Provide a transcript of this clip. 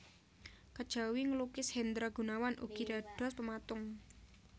Kejawi nglukis Hendra Gunawan ugi dados pematung